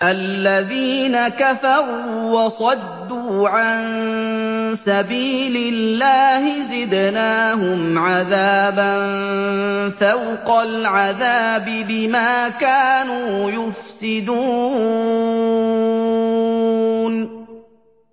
الَّذِينَ كَفَرُوا وَصَدُّوا عَن سَبِيلِ اللَّهِ زِدْنَاهُمْ عَذَابًا فَوْقَ الْعَذَابِ بِمَا كَانُوا يُفْسِدُونَ